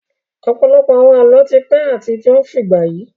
Ọ̀pọ̀lọpọ̀ àwọn Àlọ́ ti pẹ́ àti ó ń fìgbà yi